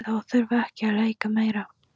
Best er þó að þurfa ekki að leika meira.